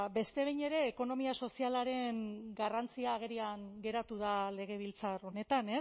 ba beste behin ere ekonomia sozialaren garrantzia agerian geratu da legebiltzar honetan